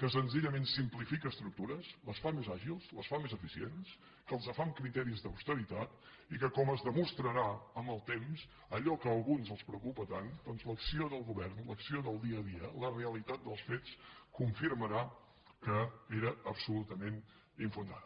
que senzillament simplifica estructures les fa més àgils les fa més eficients que les fa amb criteris d’austeritat i que com es demostrarà amb el temps allò que a alguns els preocupa tant doncs l’acció del govern l’acció del dia a dia la realitat dels fets confirmarà que era absolutament infundat